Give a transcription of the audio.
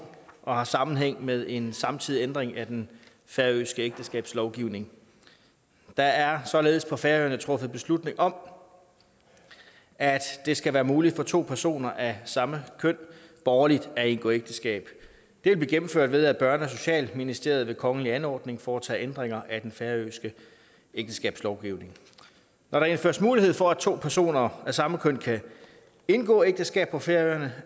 og har sammenhæng med en samtidig ændring af den færøske ægteskabslovgivning der er således på færøerne truffet beslutning om at det skal være muligt for to personer af samme køn borgerligt at indgå ægteskab det vil blive gennemført ved at børne og socialministeriet ved kongelig anordning foretager ændringer af den færøske ægteskabslovgivning når der indføres mulighed for at to personer af samme køn kan indgå ægteskab på færøerne